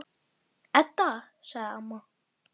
Hrygnurnar voru örari að taka.